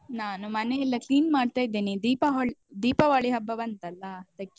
ನಾನು ಮನೆಯೆಲ್ಲ clean ಮಾಡ್ತಾ ಇದ್ದೇನೆ, ದೀಪಾಹಳ್~ ದೀಪಾವಳಿ ಹಬ್ಬ ಬಂತಲ್ಲ ಅದಕ್ಕೆ.